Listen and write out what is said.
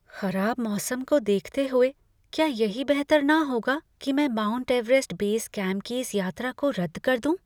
खराब मौसम को देखते हुए, क्या यही बेहतर न होगा कि मैं माउंट एवरेस्ट बेस कैम्प की इस यात्रा को रद्द कर दूँ?